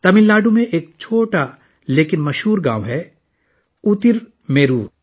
تمل ناڈو میں ایک چھوٹا لیکن مشہور گاؤں ہے اترمیرور